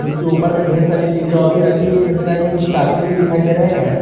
उसके ऊपर में ढेर सारी चीज और भी रखी हुई नजर आ रही है कुछ कार्टून भी दिखाई दे रहे हैं।